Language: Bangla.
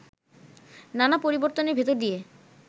নানা পরিবর্তনের ভিতর দিয়ে